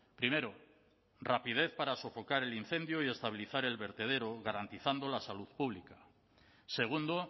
primero rapidez para sofocar el incendio y estabilizar el vertedero garantizando la salud pública segundo